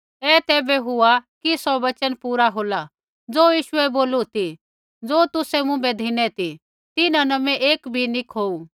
ऐ तैबै हुआ कि सौ वचन पूरा होला ज़ो यीशुऐ बोलू ती ज़ो तुसै मुँभै धिनै ती तिन्हां न मैं एक भी नी खोऊ